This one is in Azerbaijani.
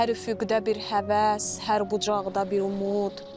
Hər üfüqdə bir həvəs, hər bucaqda bir umud.